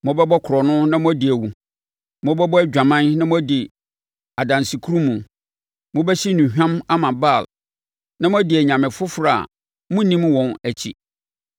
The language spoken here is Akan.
“ ‘Mobɛbɔ korɔno na moadi awu, mobɛbɔ adwaman na moadi adansekurumu, mobɛhye nnuhwam ama Baal na moadi anyame foforɔ a monnim wɔn akyi,